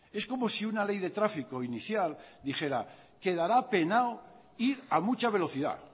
es como si una ley de trafico inicial dijera quedara penado ir a mucha velocidad